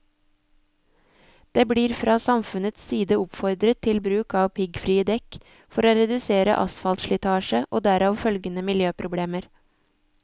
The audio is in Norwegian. Det blir fra samfunnets side oppfordret til bruk av piggfrie dekk for å redusere asfaltslitasje og derav følgende miljøproblemer.